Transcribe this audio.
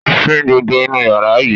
Fín gbogbo inú yàrá yìí!